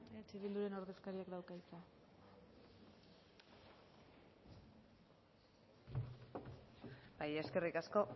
eh bilduren ordezkariak dauka hitza bai eskerrik asko